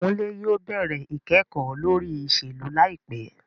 Kunle yóò bẹrẹ ikẹkọ lori iṣelu laipẹ